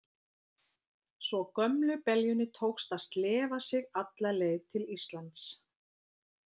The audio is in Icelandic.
Svo gömlu beljunni tókst að slefa sig alla leið til Íslands.